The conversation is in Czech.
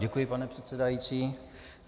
Děkuji, pane předsedající.